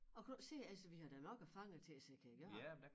Og kunne du ikke se altså vi har da nok af fanger til at sætte kan gøre